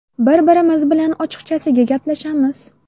Bir-birimiz bilan ochiqchasiga gaplashamiz.